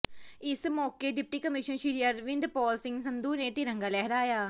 ਇਸ ਮੌਕੇ deputy commissioner Shri Arvind Pal Singh Sandhu ਨੇ ਤਿਰੰਗਾ ਲਹਿਰਾਇਆ